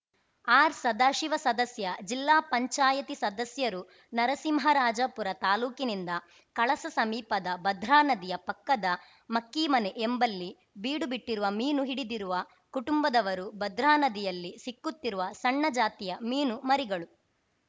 ಆರ್‌ಸದಾಶಿವ ಸದಸ್ಯ ಜಿಲ್ಲಾ ಪಂಚಾಯಿತಿ ಸದಸ್ಯರು ನರಸಿಂಹರಾಜಪುರ ತಾಲೂಕಿನಿಂದ ಕಳಸ ಸಮೀಪದ ಭದ್ರಾ ನದಿಯ ಪಕ್ಕದ ಮಕ್ಕೀಮನೆ ಎಂಬಲ್ಲಿ ಬೀಡು ಬಿಟ್ಟಿರುವ ಮೀನು ಹಿಡಿದಿವ ಕುಟುಂಬದವರು ಭದ್ರಾ ನದಿಯಲ್ಲಿ ಸಿಕ್ಕುತ್ತಿರುವ ಸಣ್ಣ ಜಾತಿಯ ಮೀನು ಮರಿಗಳು